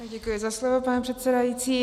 Děkuji za slovo, pane předsedající.